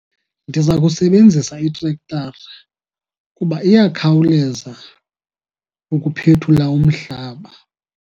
Ndiza kusebenzisa itrektari kuba iyakhawuleza ukuphethula umhlaba.